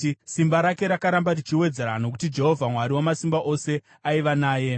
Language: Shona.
Simba rake rakaramba richiwedzerwa, nokuti Jehovha Mwari Wamasimba Ose aiva naye.